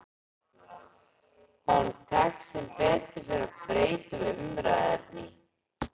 Honum tekst sem betur fer að breyta um umræðuefni.